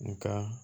Nga